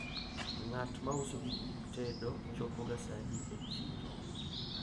ng'at mauso gik tedo chopo ga sadi e chiro